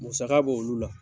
Musaka b' olu la